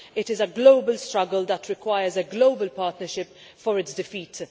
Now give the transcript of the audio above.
It is a global struggle that requires a global partnership for its defeat.